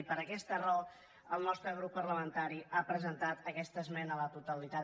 i per aquesta raó el nostre grup parlamentari ha presentat aquesta esmena a la totalitat